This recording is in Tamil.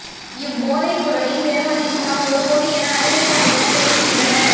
இவ் போதைப் பொறுளின் பெறுமதி சுமார் ஒரு கோடி என அதிரடிப்படையினர் தெரிவிக்கின்றனர்